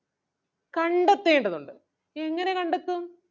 കണ്ടെത്തേണ്ടതുണ്ട് എങ്ങനെ കണ്ടെത്തും?